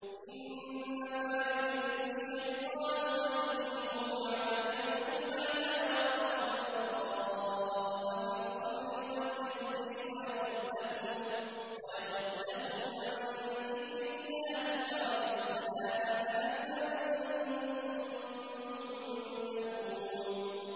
إِنَّمَا يُرِيدُ الشَّيْطَانُ أَن يُوقِعَ بَيْنَكُمُ الْعَدَاوَةَ وَالْبَغْضَاءَ فِي الْخَمْرِ وَالْمَيْسِرِ وَيَصُدَّكُمْ عَن ذِكْرِ اللَّهِ وَعَنِ الصَّلَاةِ ۖ فَهَلْ أَنتُم مُّنتَهُونَ